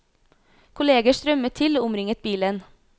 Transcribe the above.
Kolleger strømmet til og omringet bilen.